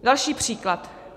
Další příklad.